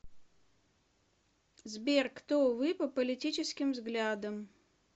сбер кто вы по политическим взглядам